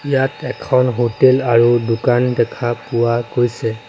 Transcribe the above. ইয়াত এখন হোটেল আৰু দোকান দেখা পোৱা গৈছে।